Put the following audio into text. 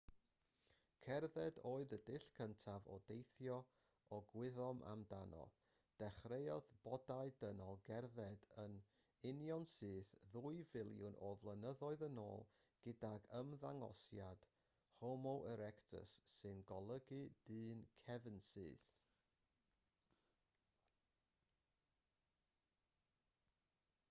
cerdded oedd y dull cyntaf o deithio y gwyddom amdano dechreuodd bodau dynol gerdded yn unionsyth ddwy filiwn o flynyddoedd yn ôl gydag ymddangosiad homo erectus sy'n golygu dyn cefnsyth